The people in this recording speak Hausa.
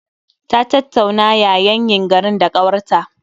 Ta tattauna yayanyin garin da ƙawarta